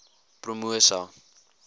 promosa